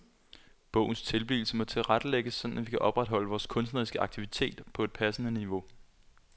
Bogens tilblivelse må tilrettelægges sådan at vi kan opretholde vores kunstneriske aktivitet på et passende niveau.